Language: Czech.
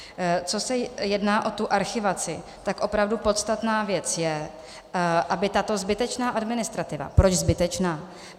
Pokud se jedná o tu archivaci, tak opravdu podstatná věc je, aby tato zbytečná administrativa - proč zbytečná?